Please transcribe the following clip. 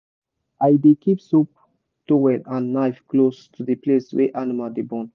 i dey keep soap towel and knife close to the place wey animal dey born.